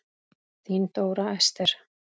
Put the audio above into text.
Þín Dóra Esther.